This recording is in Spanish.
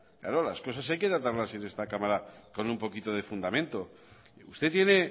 claro las cosas hay que tratarlas en esta cámara con un poquito de fundamento usted tiene